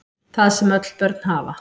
Það sem öll börn hafa